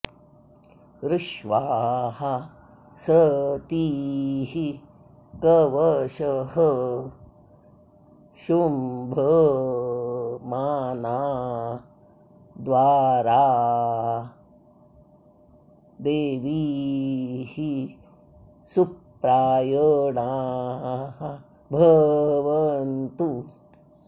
ऋ॒ष्वाः स॒तीः क॒वषः॒ शुंभ॑माना॒ द्वारो॑ दे॒वीः सु॑प्राय॒णा भ॑वन्तु